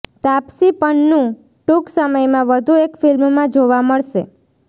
તાપસી પન્નૂ ટૂંક સમયમાં વધુ એક ફિલ્મમાં જોવા મળશે